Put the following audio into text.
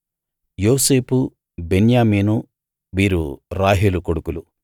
యోసేపు బెన్యామీను వీరు రాహేలు కొడుకులు